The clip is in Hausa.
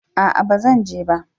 A'a ban zan je ba